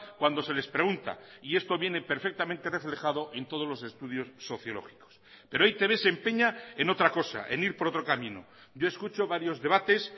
cuando se les pregunta y esto viene perfectamente reflejado en todos los estudios sociológicos pero e i te be se empeña en otra cosa en ir por otro camino yo escucho varios debates